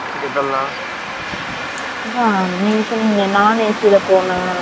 அதான் நீங்க சொன்னிங்கலெ non AC ல பொரதுக்கு எவலொ அச்சு